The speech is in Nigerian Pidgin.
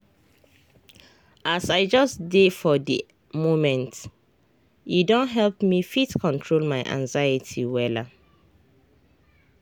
as i just dey for di momente don help me fit control my anxiety wella.